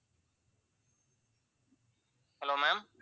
hello ma'am